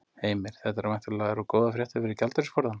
Heimir: Þetta væntanlega eru góðar fréttir fyrir gjaldeyrisforðann?